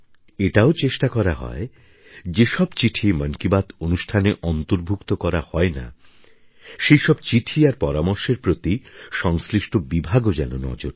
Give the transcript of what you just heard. এটাও চেষ্টা করা হয় যে সব চিঠি মন কি বাত অনুষ্ঠানে অন্তর্ভুক্ত করা হয় না সে সব চিঠি আর পরামর্শের প্রতি সংশ্লিষ্ট বিভাগও যেন নজর দেয়